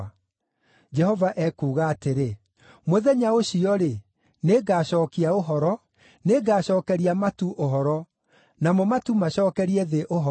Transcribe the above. Jehova ekuuga atĩrĩ, “Mũthenya ũcio-rĩ, nĩngacookia ũhoro; nĩngacookeria matu ũhoro, namo matu macookerie thĩ ũhoro;